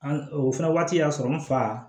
An o fana waati y'a sɔrɔ n fa